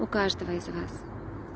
у каждого из вас